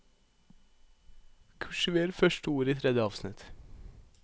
Kursiver første ord i tredje avsnitt